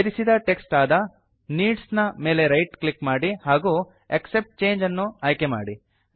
ಸೇರಿಸಿದ ಟೆಕ್ಸ್ಟ್ ಆದ ನೀಡ್ಸ್ ನ ಮೇಲೆ ರೈಟ್ ಕ್ಲಿಕ್ ಮಾಡಿ ಹಾಗೂ ಆಕ್ಸೆಪ್ಟ್ ಚಂಗೆ ಅನ್ನು ಆಯ್ಕೆ ಮಾಡಿ